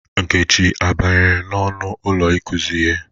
Nkechi a banyere n'ọnụ ụlọ ikuzi ihe?